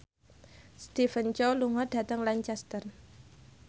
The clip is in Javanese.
Stephen Chow lunga dhateng Lancaster